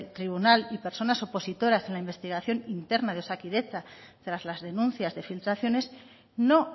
tribunal y personas opositoras en la investigación interna de osakidetza tras las denuncias de filtraciones no